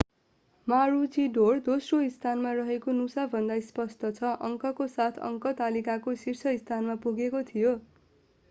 मारुचीडोर दोस्रो स्थानमा रहेको नुसा भन्दा स्पष्ट छ अङ्कको साथ अङ्क तालिकाको शीर्ष स्थानमा पुगेको थियो